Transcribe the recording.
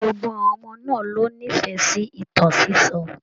Gbogbo àwọn ọmọ náà ló n'ifẹ sí ìtàn sisọ.